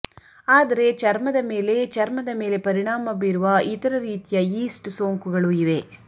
ಆದರೆ ಚರ್ಮದ ಮೇಲೆ ಚರ್ಮದ ಮೇಲೆ ಪರಿಣಾಮ ಬೀರುವ ಇತರ ರೀತಿಯ ಯೀಸ್ಟ್ ಸೋಂಕುಗಳು ಇವೆ